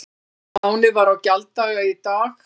Lánið var á gjalddaga í dag